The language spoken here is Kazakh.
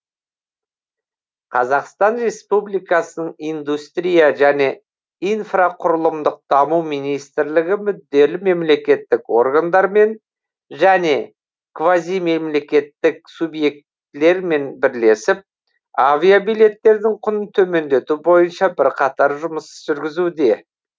қазақстан республикасын индустрия және инфрақұрылымдық даму министрлігі мүдделі мемлекеттік органдармен және квазимемлекеттік субъектілерімен бірлесіп авиабилеттердің құнын төмендету бойынша бірқатар жұмыс жүргізуде